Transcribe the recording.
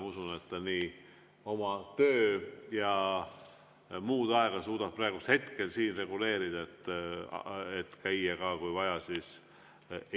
Ma usun, et ta suudab oma töö‑ ja muud aega reguleerida ja käia ka, kui vaja,